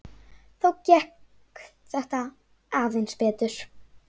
Þá gekk þetta aðeins betur.